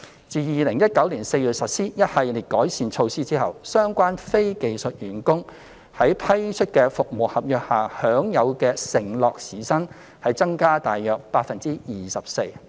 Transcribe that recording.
自2019年4月實施一系列改善措施後，相關非技術員工在批出的服務合約下享有的承諾時薪已增加約 24%。